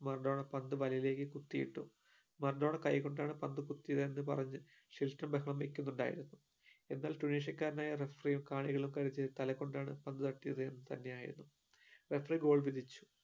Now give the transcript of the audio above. Maradona പന്ത് തലയിലേക് കുത്തി ഇട്ടു മറഡോണ കൈ കൊണ്ടാണ് പന്ത് കുത്തിയതെന് പറഞ്ഞു ഷിൽട്ടർ ബഹളം വെയ്ക്കുന്നുണ്ടായിരുന്നു എന്നാൽ tunisia കാരനായ referee കാണികളും കരുതിയത് തല കൊണ്ടാണ് പന്ത് തട്ടിയത് എന്ന് തന്നെയായണുന്നു referee goal വിധിച്ചു